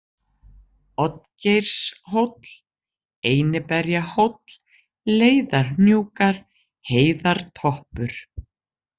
Oddgeirshóll, Einiberjahóll, Leiðarhnjúkar, Heiðartoppur